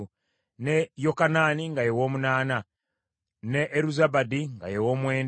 ne Yokanaani nga ye wa munaana, ne Eruzabadi nga ye wa mwenda,